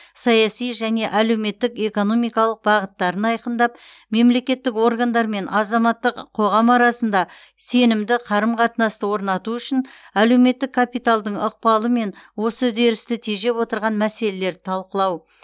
саяси және әлеуметтік экономикалық бағыттарын айқындап мемлекеттік органдар мен азаматтық қоғам арасында сенімді қарым қатынасты орнату үшін әлуметтік капиталдың ықпалы мен осы үдерісті тежеп отырған мәселелерді талқылау